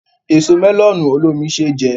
Èso mẹ́lọ̀nù olómi ṣé jẹ